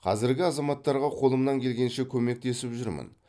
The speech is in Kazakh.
қазірде азаматтарға қолымнан келгенше көмектесіп жүрмін